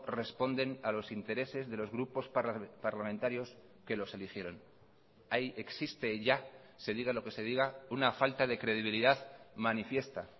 responden a los intereses de los grupos parlamentarios que los eligieron ahí existe ya se diga lo que se diga una falta de credibilidad manifiesta